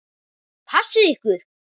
Passið ykkur.